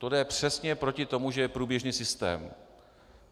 To jde přesně proti tomu, že je průběžný systém.